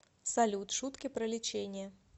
салют шутки про лечение